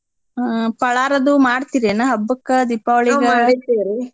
ಹ್ಞಾ ಪಳಾರ್ ಅದು ಮಾಡ್ತೀರೇನ ಹಬ್ಬಕ್ಕ ದೀಪಾವಳಿಗ.